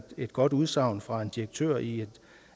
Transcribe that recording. et godt udsagn fra en direktør i et